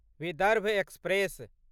Vidarbha express